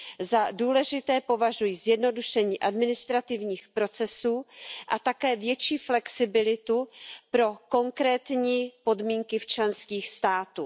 Za důležité považuji zjednodušení administrativních procesů a také větší flexibilitu pro konkrétní podmínky členských států.